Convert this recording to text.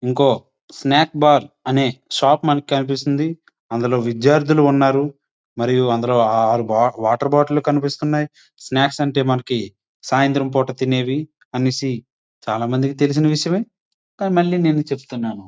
ఇంకో snack bar అనే shop మన కనిపిస్తుంది. అందులో విద్యార్థులు ఉన్నారు. మరియు అందరూ నాలుగు వాటర్ బాటిల్ కనిపిస్తున్నాయి. స్నాక్స్ అంటే మనకి సాయంత్రం పూట తినే అనేసి చాలామందికి తెలిసిన విషయమే కానీ నేను మళ్ళీ చెబుతున్నాను.